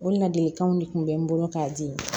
O ladilikanw de tun bɛ n bolo k'a di